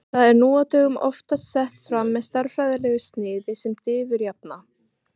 Það er nú á dögum oftast sett fram með stærðfræðilegu sniði sem diffurjafna.